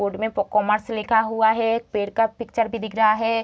Board मे commerce लिखा हुआ है एक पेड़ का पिक्चर भी दिख रहा है।